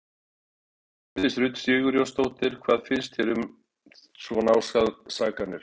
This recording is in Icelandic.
Hjördís Rut Sigurjónsdóttir: Hvað finnst þér um svona ásakanir?